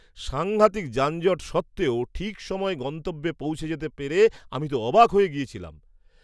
সাঙ্ঘাতিক যানজট সত্ত্বেও ঠিক সময়ে গন্তব্যে পৌঁছে যেতে পেরে আমি তো অবাক হয়ে গেছিলাম!